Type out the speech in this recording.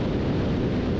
Səs yoxa çıxdı.